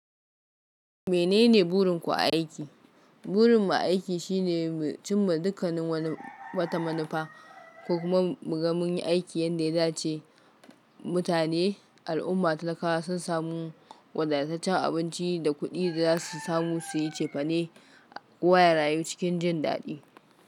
Menene burin ku a aiki? Burin mu a aiki shine mu cimma dukkanin wani wata manufa ko kuma mu ga munyi aikin yanda ya dace. Mutane, al'umma ta laka sun samu wadataccen abinci da kuɗi da za su samu su yi cefane. Kowa ya rayu cikin jin daɗi.